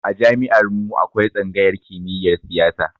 A jami'ar mu akwai tsangayar kimiyar siyasa